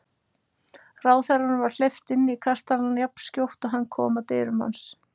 Ráðherranum var hleypt inn í kastalann jafnskjótt og hann kom að dyrum hans.